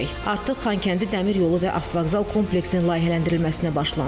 Artıq Xankəndi Dəmir yolu və avtovağzal kompleksinin layihələndirilməsinə başlanılıb.